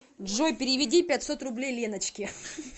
джой переведи пятьсот рублей леночке